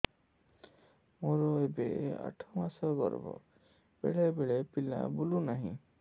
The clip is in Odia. ମୋର ଏବେ ଆଠ ମାସ ଗର୍ଭ ବେଳେ ବେଳେ ପିଲା ବୁଲୁ ନାହିଁ